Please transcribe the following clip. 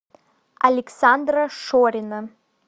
александра шорина